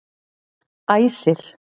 Æsir